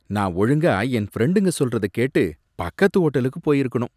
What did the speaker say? நான் ஒழுங்கா என் ஃப்ரெண்டுங்க சொல்றத கேட்டு பக்கத்து ஹோட்டலுக்கு போயிருக்கணும்